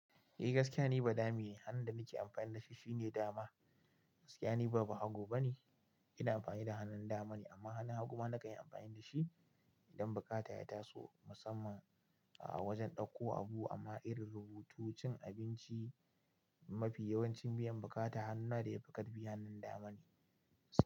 Eh gaskiya ni badame ne, hannun da nake amfani da shi shine dama. Gaskiya ni ba bahago ba ne, ina amfani da hannun dama ne amma hannun haguma na kan yi amfani da shi idan bukata ya taso musamman a wajen ɗauko abu amma irin rubutu, cin abinci mafi yawancin biyan bukata hannuna da ya fi karfi hannun dama ne.